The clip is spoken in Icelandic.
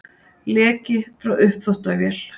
Leki frá uppþvottavél